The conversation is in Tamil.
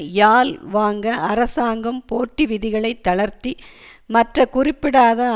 யால் வாங்க அரசாங்கம் போட்டி விதிகளைத் தளர்த்தி மற்ற குறிப்பிட படாத